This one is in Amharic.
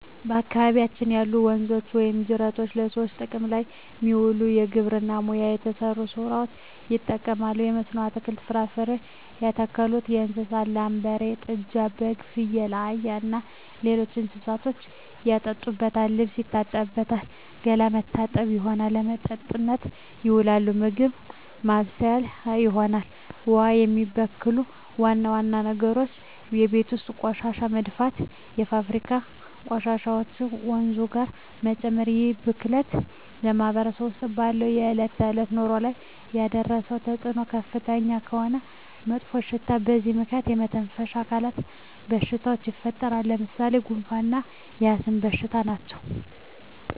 በአካባቢያችን ያሉ ወንዞች ወይም ጅረቶች በሰዎች ጥቅም ላይ የሚውለው በግብርና ሙያ ለተሠማሩ ሠዎች ይጠቅማል። በመስኖ አትክልትን፣ ፍራፍሬ ያተክሉበታል። ለእንስሳት ላም፣ በሬ፣ ጥጃ፣ በግ፣ ፍየል፣ አህያ እና ሌሎች እንስሶችን ያጠጡበታል፣ ልብስ ይታጠብበታል፣ ገላ መታጠቢያነት ይሆናል። ለመጠጥነት ይውላል፣ ምግብ ማብሠያ ይሆናል። ውሃውን የሚበክሉ ዋና ዋና ነገሮች የቤት ውስጥ ቆሻሻ መድፋት፣ የፋብሪካ ቆሻሾችን ወንዙ ጋር መጨመር ይህ ብክለት በማህበረሰባችን ውስጥ ባለው የዕለት ተዕለት ኑሮ ላይ ያደረሰው ተፅኖ ከፍተኛ የሆነ መጥፎሽታ በዚህ ምክንያት የመተነፈሻ አካል በሽታዎች ይፈጠራሉ። ለምሣሌ፦ ጉንፋ እና የአስም በሽታ ናቸው።